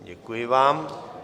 Děkuji vám.